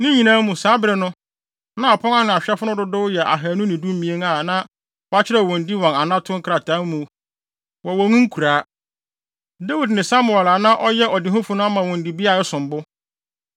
Ne nyinaa mu, saa bere no, na apon ano ahwɛfo no dodow yɛ ahannu ne dumien (212) a na wɔakyerɛw wɔn din wɔ wɔn anato nkrataa mu wɔ wɔn nkuraa. Dawid ne Samuel a na ɔyɛ ɔdehufo no ama wɔn dibea a ɛsom bo.